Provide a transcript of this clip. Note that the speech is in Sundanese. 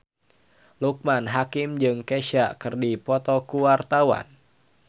Loekman Hakim jeung Kesha keur dipoto ku wartawan